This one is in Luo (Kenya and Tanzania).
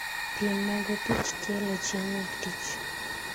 piem mag opich tielo chieng' wuok tich